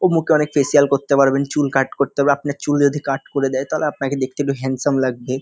ও মুখে অনেক করতে পারবেন চুল কাট করতে হবে আপনার চুল যদি কাট করে দেই তাহলে আপনাকে দেখতে একটু হান্দসাম লাগবে ।